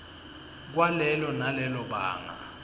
kwalelo nalelo banga